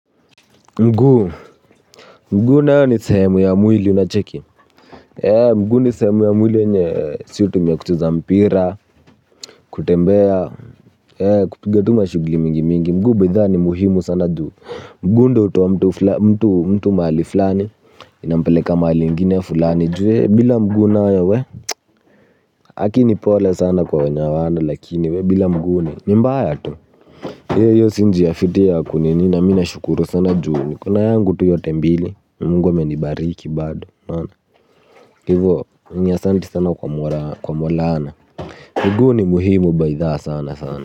Mguu. Mguu nayo ni sehemu ya mwili unacheki. Mguu ni sehemu ya mwili yenye si hutumia kucheza mpira. Kutembea kupiga tu mashugli mingi mingi mguu bytha ni muhimu sana juu mguu ndo utoa mtu mtu mtu mtu mahali flani. Inampeleka mahali ingine fulani juu ee bila mguu nayo we lakini pole sana kwa wenye hawana lakini we bila mguu ni ni mbaya tu. Hiyo hiyo si njia fiti ya kunini na mi nashukuru sana juu nikona yangu tu yote mbili mungu amenibariki bado unaona hivyo ni asanti sana kwa maulana miguu ni muhimu baithaa sana sana.